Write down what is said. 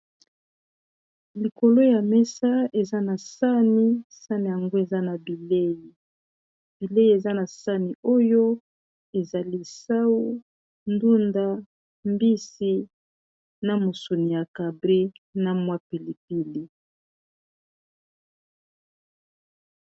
Likolo ya mesa eza na sani, sani yango eza na bilei. Bilei eza na sani oyo ezali sau, ndunda, mbisi, na musuni ya cabré na mwa pilipili.